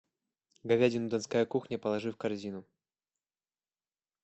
говядину донская кухня положи в корзину